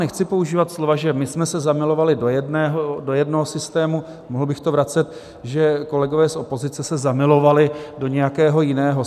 Nechci používat slova, že my jsme se zamilovali do jednoho systému - mohl bych to vracet, že kolegové z opozice se zamilovali do nějakého jiného.